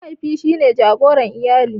Mahaifi shine jagoran iyali.